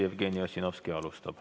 Jevgeni Ossinovski alustab.